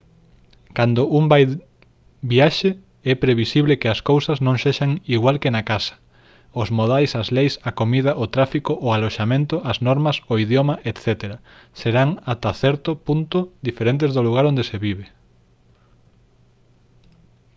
cando un vai viaxe é previsible que as cousas non sexan igual que na casa os modais as leis a comida o tráfico o aloxamento as normas o idioma etc serán ata certo punto diferentes do lugar onde se vive